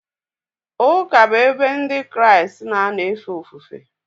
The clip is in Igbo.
Ụka bụ ebe Ndị Kraịst na-anọ efe ofufe.